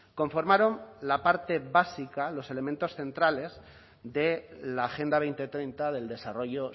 conformaron la parte básica los elementos centrales de la agenda dos mil treinta del desarrollo